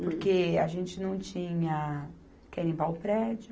Porque a gente não tinha quem limpar o prédio,